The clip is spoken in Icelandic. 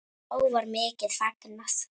Þá var mikið fagnað.